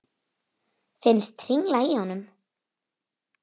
Finnst hringla í honum.